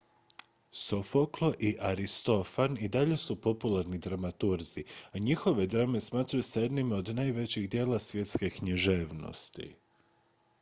sofoklo i aristofan i dalje su popularni dramaturzi a njihove drame smatraju se jednima od najvećih djela svjetske književnosti